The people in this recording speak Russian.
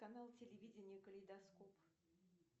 канал телевидения калейдоскоп